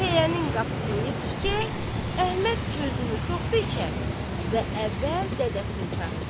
Pəyənin qapısına yetişcək, Əhməd özünü soxdu içəri və əvvəl dədəsini çağırdı.